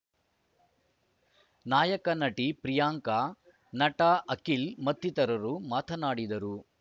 ನಾಯಕ ನಟಿ ಪ್ರಿಯಾಂಕ ನಟ ಅಖಿಲ್‌ ಮತ್ತಿತರರು ಮಾತನಾಡಿದರು